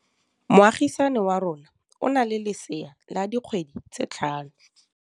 Moagisane wa rona o na le lesea la dikgwedi tse tlhano.